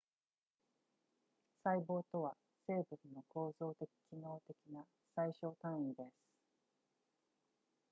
細胞とは生物の構造的機能的な最小単位です